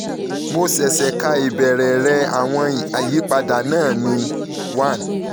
mo ṣẹ̀ṣẹ̀ ka ìbéèrè rẹ - àwọn ìyípadà náà ni - one